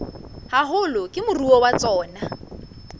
haholo ke moruo wa tsona